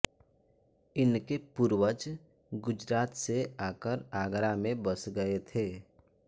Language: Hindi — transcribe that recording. इनके पूर्वज गुजरात से आकर आगरा में बस गये थे